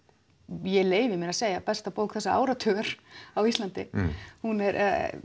ég leyfi mér að segja besta bók þessa áratugar á Íslandi hún er